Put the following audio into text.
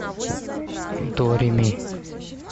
до ре ми